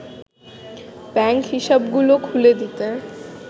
bank হিসাবগুলো খুলে দিতে